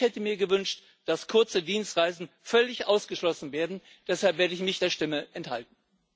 Ich hätte mir gewünscht, dass kurze Dienstreisen völlig ausgeschlossen werden, deshalb werde ich mich der Stimme enthalten.